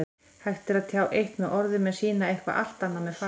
Hægt er að tjá eitt með orðum en sýna eitthvað allt annað með fasi.